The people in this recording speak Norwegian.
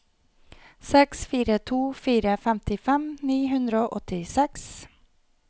seks fire to fire femtifem ni hundre og åttiseks